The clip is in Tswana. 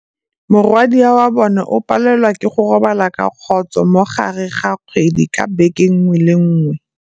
Morwadia wa bone o palelwa ke go robala ka khôsô mo gare ga kgwedi ka beke nngwe le nngwe.